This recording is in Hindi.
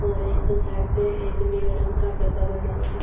और एक साइड पे एक नीले रंग का डब्बा बना हुआ--